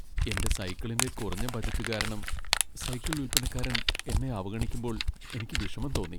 എന്റെ സൈക്കിളിന്റെ കുറഞ്ഞ ബജറ്റ് കാരണം സൈക്കിൾ വിൽപ്പനക്കാരൻ എന്നെ അവഗണിക്കുമ്പോൾ എനിക്ക് വിഷമം തോന്നി .